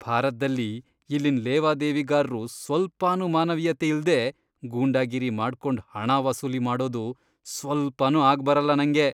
ಭಾರತ್ದಲ್ಲಿ ಇಲ್ಲಿನ್ ಲೇವಾದೇವಿಗಾರ್ರು ಸ್ವಲ್ಪನೂ ಮಾನವೀಯತೆ ಇಲ್ದೇ ಗೂಂಡಾಗಿರಿ ಮಾಡ್ಕೊಂಡ್ ಹಣ ವಸೂಲಿ ಮಾಡೋದು ಸ್ವಲ್ಪನೂ ಆಗ್ಬರಲ್ಲ ನಂಗೆ.